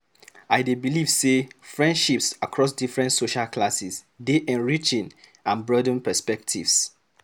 I dey believe say friendships across different social classes dey enriching and broaden perspectives.